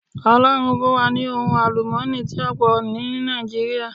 Ọlọ́run fún wa ní ohun àlùmọ́ọ́nì tí ó pò ní Nàìjíríà